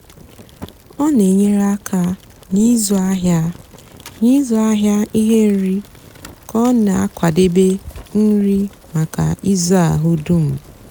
ọ nà-ènyere ákà n'ịzụ áhịa n'ịzụ áhịa íhè nri kà ọ nà-àkwadebe nri mákà ízú áhụ dum.